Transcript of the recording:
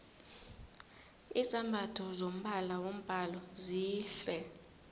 izambatho zombala wombhalo zihle